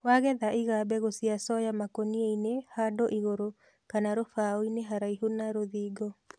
wagetha iga mbegũ cia soya makũniainĩ handũ igũru kana rũbaoinĩ haraihu na rũthingo